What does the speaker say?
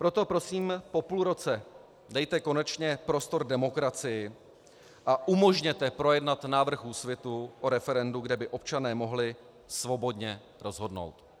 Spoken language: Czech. Proto prosím, po půl roce dejte konečně prostor demokracii a umožněte projednat návrh Úsvitu o referendu, kde by občané mohli svobodně rozhodnout.